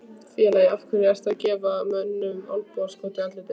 Félagi, af hverju ertu að gefa mönnum olnbogaskot í andlitið?